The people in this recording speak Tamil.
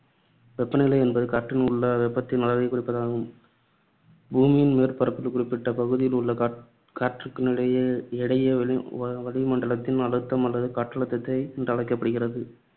வெப்ப நிலை என்பது காற்றில் உள்ள வெப்பத்தின் அளவைக் குறிப்பதாகும். பூமியின் மேற்பரப்பில் குறிப்பிட்டபகுதியில் உள்ள காற்றினுடைய எடையே வளிமண்டலத்தின் அழுத்தம் அல்லது காற்றழுத்தம் என்றழைக்கப்படுகிறது.